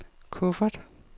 kuffert